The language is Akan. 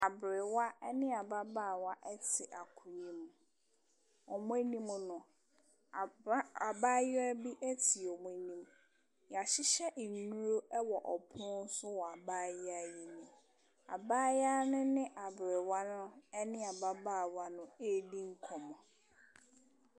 Aberewa ne ababaawa te akonnwa mu. Wɔn anim no, abra abaayewa bi te wɔn anim. Wɔahyehyɛ nnuro wɔ pono so wɔ abaayewa yi anim. Abaayewa no ne aberewa no ne ababaawa no redi nkɔmmɔ.